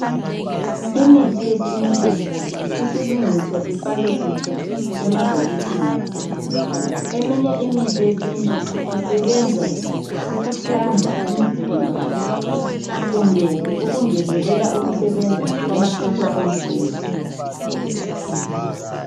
Imithi yesintu isilungiswa ifakwe kuhle emabhokisini eminye imithi yesintu isebenza ukuhlanza umzimba kumbe ungezelela ukusebenza kwamasotsha omzimba